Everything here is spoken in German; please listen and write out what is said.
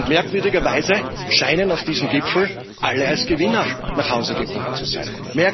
Merkwürdigerweise scheinen auf diesem Gipfel alle als Gewinner nach Hause gekommen zu sein.